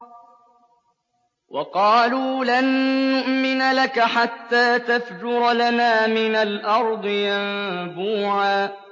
وَقَالُوا لَن نُّؤْمِنَ لَكَ حَتَّىٰ تَفْجُرَ لَنَا مِنَ الْأَرْضِ يَنبُوعًا